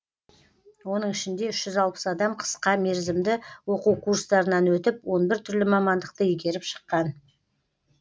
оның ішінде үш жүз алпыс адам қысқа мерзімді оқу курстарынан өтіп он бір түрлі мамандықты игеріп шыққан